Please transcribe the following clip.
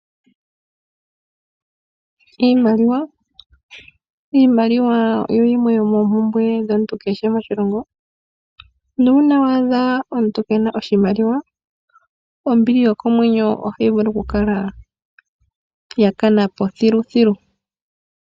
Iimaliwa oyo yimwe yomoompumbwe dhomuntu kehe moshilongo. Uuna wa adha omuntu Keena oshimaliwa ombili yokomwenyo ohayi vulu kukala yakanapo thiluthilu.